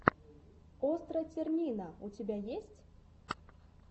остра тирнина у тебя есть